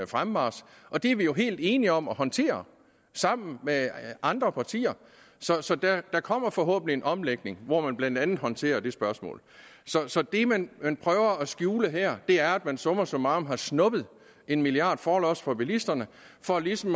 fremmarch og det er vi helt enige om at håndtere sammen med andre partier så så der kommer forhåbentlig en omlægning hvor man blandt andet håndterer det spørgsmål så det man man prøver at skjule her er at man summa summarum har snuppet en milliard kroner forlods fra bilisterne for ligesom